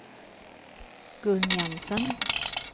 Gun Jensen